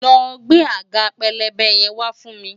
lọ gbé àga pélébé yẹn wa fún mi!